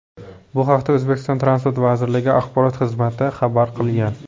Bu haqda O‘zbekiston transport vazirligi axborot xizmati xabar qilgan .